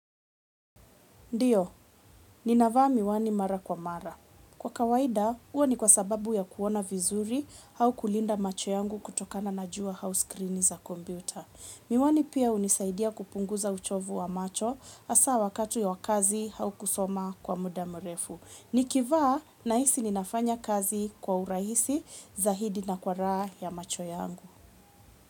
Ndiyo, ninavaa miwani mara kwa mara. Kwa kawaida, huwa ni kwa sababu ya kuona vizuri au kulinda macho yangu kutokana na jua au skirini za kompyuta. Miwani pia hunisaidia kupunguza uchovu wa macho hasa wakati wa kazi au kusoma kwa muda mrefu. Nikivaa, nahisi ninafanya kazi kwa urahisi, zaidi na kwa raha ya macho yangu.